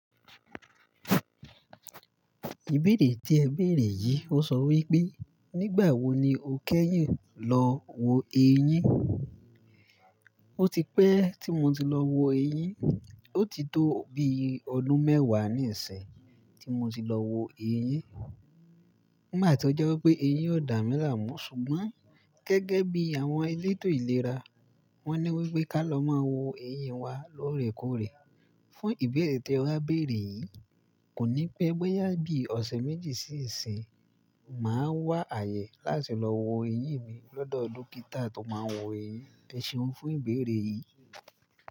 Ìbéèrè tí ẹ béèrè yìí ó sọ wí pé, nígbà wo ni o kẹ́yìn lọ wo eyín? Ó ti pẹ́ tí mo ti lọ wo eyín. Ó ti tó bi ọdún mẹ́wàá nísinyi tí mo ti lọ wo eyín. Nigba ti ó jẹ́ wí pé eyín ò dá mí láàmú ṣùgbọ́n gẹ́gẹ́ bí àwọn elétò ìlera, wọ́n ní wí pé ká lọ máa wo eyín wa lóòrèkóòrè. Fún ìbéèrè tí ẹ wá béèrè yìí, kò ní pẹ boyà bí ọ̀sẹ̀ méjì sí ìsín, màá wá àyè láti lọ wo eyín mi lọ́dọ̀ dókítà tó máa ń wo eyín. Eseun fún ìbéèrè yìí.